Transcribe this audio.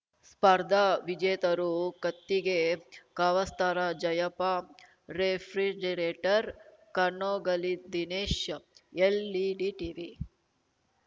ಸ್ಪರ್ಧಾ ವಿಜೇತರು ಕತ್ತಿಗೆ ಕವಾಸ್ಥರ ಜಯಪ್ಪ ರೆಫ್ರಿಜಿರೇಟರ್‌ ಕನೋಗಳ್ಳಿದಿನೇಶ್‌ ಎಲ್‌ಇಡಿ ಟಿವಿ